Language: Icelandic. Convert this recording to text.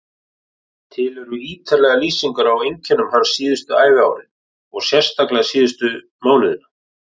Til eru ítarlegar lýsingar á einkennum hans síðustu æviárin og sérstaklega síðustu mánuðina.